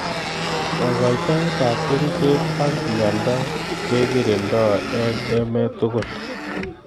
Kakoitoet ab kerichek ab mnyendo kekirinda eng emet tugul.